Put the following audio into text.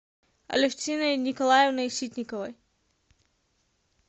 алевтиной николаевной ситниковой